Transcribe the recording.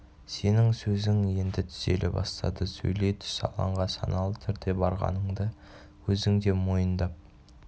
сенің сөзің енді түзеле бастады сөйлей түс алаңға саналы түрде барғаныңды өзің де мойындап